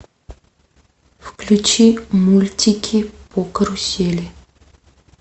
включи мультики по карусели